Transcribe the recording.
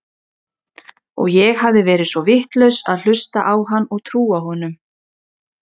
Og ég hafði verið svo vitlaus að hlusta á hann og trúa honum.